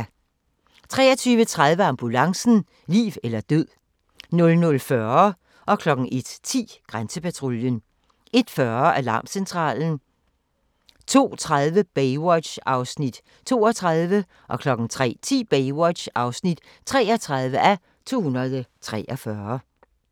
23:30: Ambulancen - liv eller død 00:40: Grænsepatruljen 01:10: Grænsepatruljen 01:40: Alarmcentralen 02:30: Baywatch (32:243) 03:10: Baywatch (33:243)